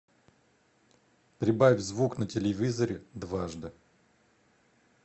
прибавь звук на телевизоре дважды